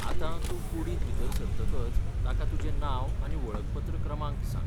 आतां, तूं कुडींत भितर सरतकच तांका तुजें नांव आनी वळखपत्र क्रमांक सांग.